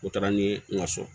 O taara ni n ka so